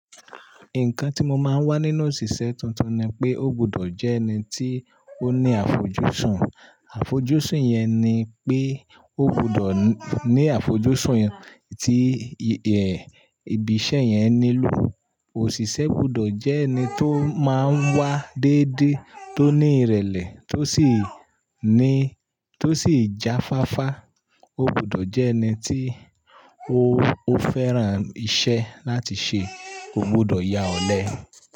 Nǹkan tí mo máa ń wá nínú òṣìṣẹ́ tuntun ni pé, ó gbúdọ̀ jẹ́ ẹni tí ó ní àfojúsùn. Àfojúsùn yẹn ni pé ó gbúdọ̀ ní àfojúsùn tí ẹ̀, ibi iṣẹ́ yẹn nílò. Òṣìṣẹ́ gbúdọ̀ jẹ́ ẹni tó máa ń wá déédé, tó ní ìrẹ̀lẹ̀, tó sì ní, tó sì jáfáfá. Ó gbúdọ̀ jẹ́ ẹni tí ó, ó fẹ́ran iṣẹ́ láti ṣe. Ó gbúdọ̀ ya ọ̀lẹ.